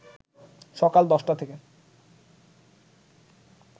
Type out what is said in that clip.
সকাল ১০টা থেকে